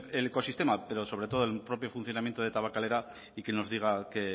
el ecosistema pero sobre todo el propio funcionamiento de tabakalera y que nos diga qué